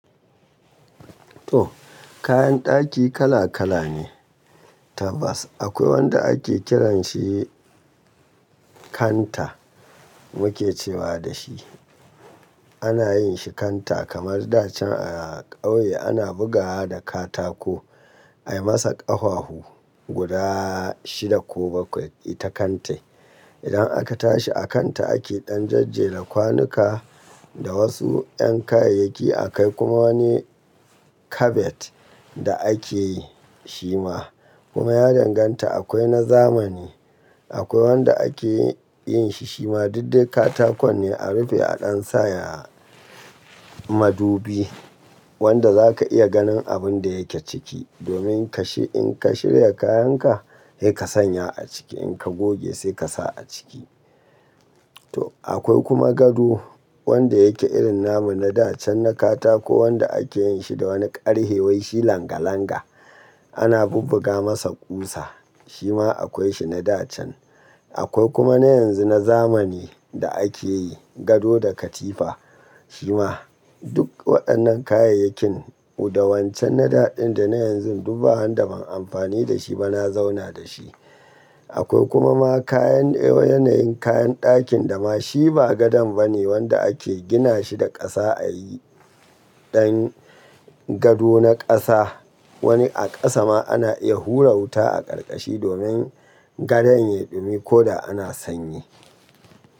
To kayan daki kala kala ne. Tabas akwai wanda ake kiranshi kanta muke cewa da shi. Ana yin shi kanta kamar da can a ƙauye ana bugawa da katako ayi masa ƙaffafu guda shida ko bakwai ita kantan. Idan aka tashi a kanta ake ɗan jajjira kwanuka da wasu ƴan kayayyaki a kai kuma wani kabet da ake shi ma. Kuma ya danganta akwai na zamani. Akwai wanda ake yin shi shima duk dai katakon ne a rufe a ɗan saya madubi wanda zaka iya ganin abun da yake ciki domin kashe in ka shirya kayan ka, sai ka sanya a ciki in ka goge sai ka sa a ciki. To akwai kuma gado wanda yake irin namu na da can na katako wanda ake yin shi da wani ƙarfe wai shi langa langa. Ana bubbuga masa ƙusa shi ma akwai shi na da can. Akwai kuma na yanzu na zamani da ake yi gado da katifa shi ma. Duk waɗannan kayayyakin da wancan na da ɗin da na yanzu duba har da ban amfani da shi ba na zauna da shi. Akwai kuma ma kayan yanayin kayan dakin da ma shi ba gadon ba ne wanda ake gina shi da ƙasa a yi ɗan gado na ƙasa. Wani a ƙasa ma ana iya hura wuta a ƙarƙashi domin gadan ya dumi ko da ana sanyi.